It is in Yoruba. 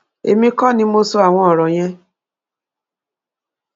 èmi kọ ni mo sọ àwọn ọrọ yẹn